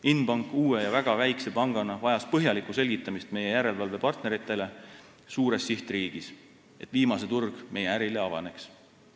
Inbank uue ja väga väikse pangana vajas põhjalikku selgitamist meie järelevalvepartneritele suures sihtriigis, et viimase turg meie ärile avaneks.